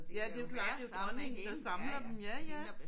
Ja det er jo klart det er jo dronningen der samler dem ja ja